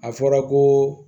A fɔra ko